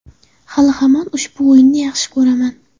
Hali-hamon ushbu o‘yinni yaxshi ko‘raman.